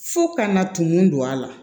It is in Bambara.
Fo kana tunu don a la